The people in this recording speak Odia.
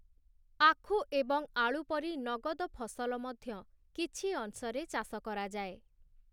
ଆଖୁ ଏବଂ ଆଳୁ ପରି ନଗଦ ଫସଲ ମଧ୍ୟ କିଛି ଅଂଶରେ ଚାଷ କରାଯାଏ ।